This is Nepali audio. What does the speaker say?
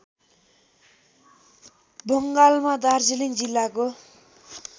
बङ्गालमा दार्जिलिङ जिल्लाको